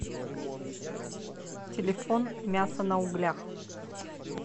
телефон мясо на углях